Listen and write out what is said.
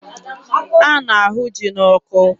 A na-ahụ ji n'ọkụ.